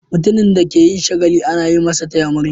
Mutumin da ke yin shagali ana yi masa "taya murna".